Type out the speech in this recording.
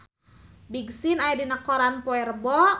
Big Sean aya dina koran poe Rebo